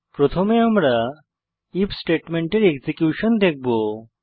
প্রথমে আমরা আইএফ স্টেটমেন্টের এক্সিকিউশন দেখবো